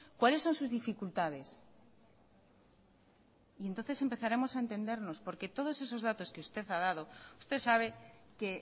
cuáles son sus dificultades y entonces empezaremos a entendernos porque todos esos datos que usted ha dado usted sabe que